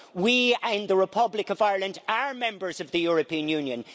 We, in the Republic of Ireland, are Members of the European Union.